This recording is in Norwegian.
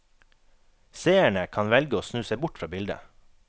Seerne kan velge å snu seg bort fra bildet.